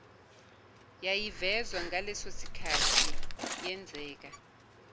yayivezwa ngalesosikhathi yenzeka